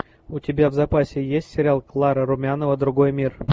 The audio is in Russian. у тебя в запасе есть сериал клара румянова другой мир